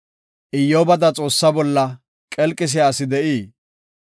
Iyyobada Xoossa bolla, qelqisiya asi de7ii?